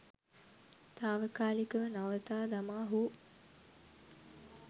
තාවකාලිකව නවතා දමා හෝ